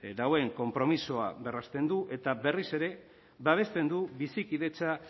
konpromisoa berresten du eta berriz ere babesten du bizikidetza